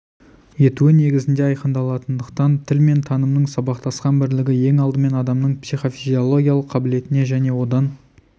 етуі негізінде айқындалатындықтан тіл мен танымның сабақтасқан бірлігі ең алдымен адамның психофизиологиялық қабілетіне және одан